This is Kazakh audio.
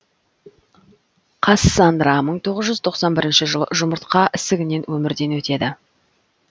кассанра мың тоғыз жүз тоқсан бірінші жылы жұмыртқа ісігінен өмірден өтеді